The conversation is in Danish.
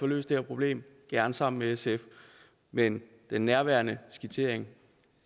løst det her problem gerne sammen med sf men men nærværende skitsering